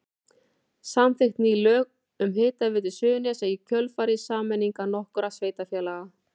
Samþykkt ný lög um Hitaveitu Suðurnesja í kjölfar sameiningar nokkurra sveitarfélaga.